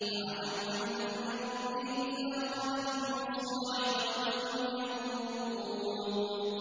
فَعَتَوْا عَنْ أَمْرِ رَبِّهِمْ فَأَخَذَتْهُمُ الصَّاعِقَةُ وَهُمْ يَنظُرُونَ